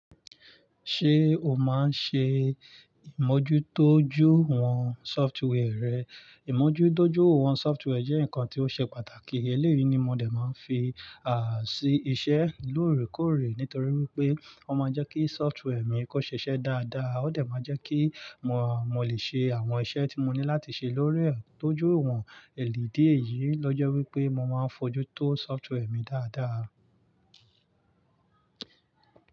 Ṣé o máa ń ṣe ìmójútójú àwọn software rẹ? Ìmójúdójú àwọn software jẹ́ nǹkan tí ó ṣe pàtàkì. Eléyìí ni mo dè máa ń fi sí iṣẹ́ lóòrèkóòrè. Nítorí wípé ó máa ń jẹ́ kí software mi kó ṣe iṣẹ́ dáadáa, ó dà máa jẹ́ kí mo, mo lè ṣe àwọn iṣẹ́ tí mo ní láti ṣe lórí rẹ̀. Tójú wọn. Èdi di èyìí ló jẹ́ wípé mo máa ń fojú tó software mi dáadáa.